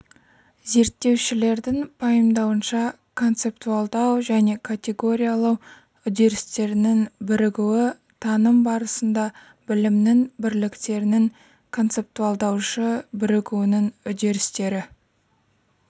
зерттеушілердің пайымдауынша концептуалдау және категориялау үдерістерінің бірігуі таным барысында білімнің бірліктерінің концептуалдаушы бірігуінің үдерістері